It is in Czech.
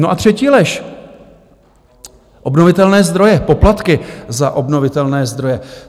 No a třetí lež: obnovitelné zdroje, poplatky za obnovitelné zdroje.